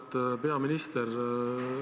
Auväärt peaminister!